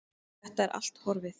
Og þetta er allt horfið.